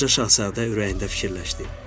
Balaca şahzadə ürəyində fikirləşdi.